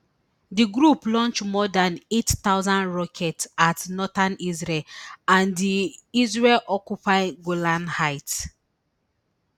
di group launch more dan eight thousand rockets at northern israel and di israelioccupy golan heights